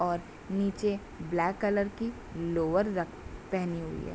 और नीचे black colour की लोअर रक पहनी हुई है।